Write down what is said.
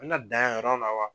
A bɛ na dan yan yɔrɔ la wa